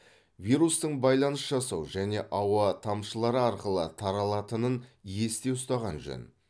вирустың байланыс жасау және ауа тамшылары арқылы таралатынын есте ұстаған жөн